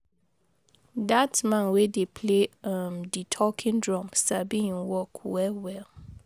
Dat man wey dey play um di talking drum sabi im work well-well.